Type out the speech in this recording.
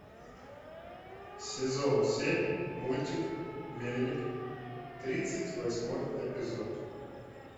сезон семь мультик мельник тридцать восьмой эпизод